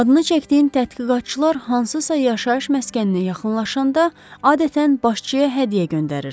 Adını çəkdiyim tədqiqatçılar hansısa yaşayış məskəninə yaxınlaşanda, adətən başçıya hədiyyə göndərirdilər.